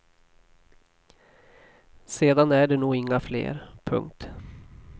Sedan är det nog inga fler. punkt